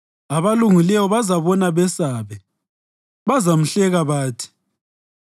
Abalungileyo bazabona besabe; bazamhleka bathi,